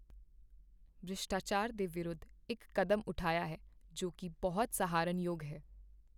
ਭ੍ਰਿਸ਼ਟਾਚਾਰ ਦੇ ਵਿਰੁੱਧ ਇੱਕ ਕਦਮ ਉਠਾਇਆ ਹੈ ਜੋ ਕੀ ਬਹੁਤ ਸਹਾਰਨਯੋਗ ਹੈ